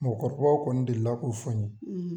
Mɔgɔkɔrɔbaw kɔni delila k'o fɔ n ye